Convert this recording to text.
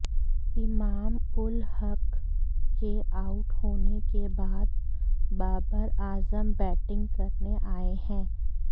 इमाम उल हक के आउट होने के बाद बाबर आजम बैटिंग करने आए हैं